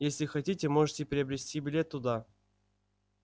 если хотите можете приобрести билет туда